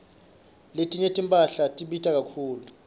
letinye timphahla tibita kakhulu